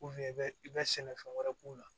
i bɛ i ka sɛnɛfɛn wɛrɛ k'u la